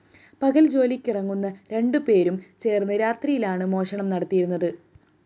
പകല്‍ ജോലിയ്ക്കിറങ്ങുന്ന രണ്ടു പേരും ചേര്‍ന്ന് രാത്രിയിലാണു മോഷണം നടത്തിയരുന്നത്